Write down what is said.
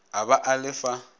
a ba a le fa